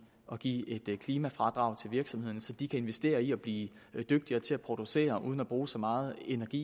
og give et klimafradrag til virksomhederne så de kan investere i at blive dygtigere til at producere uden at bruge så meget energi